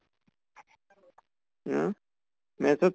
হা? maths ত